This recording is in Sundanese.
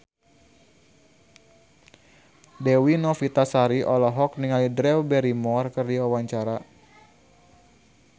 Dewi Novitasari olohok ningali Drew Barrymore keur diwawancara